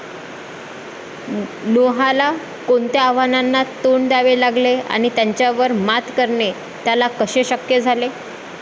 नोहाला कोणत्या आव्हानांना तोंड द्यावे लागले, आणि त्यांच्यावर मात करणे त्याला कसे शक्य झाले?